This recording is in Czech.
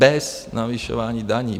Bez navyšování daní.